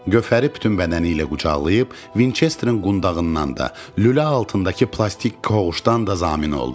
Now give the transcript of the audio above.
Gövhəri bütün bədəni ilə qucaqlayıb Vinçesterin qundağından da, lülə altındakı plastik qovuşdan da zamin oldu.